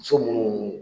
Muso munnu